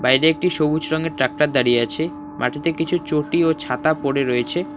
বাইরে একটি সবুজ রঙের ট্রাক্টর দাঁড়িয়ে আছে মাটিতে কিছু চটি ও ছাতা পড়ে রয়েছে।